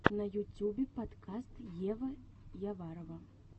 на ютюбе подкаст ева яварова